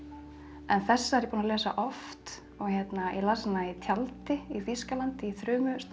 en þessa er ég búin að lesa oft og ég las hana í tjaldi í Þýskalandi í